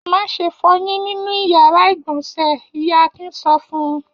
Má ṣe fọyín nínú ìyàrá-ìgbọ̀nsẹ̀! Ìyá Akin sọ fún un.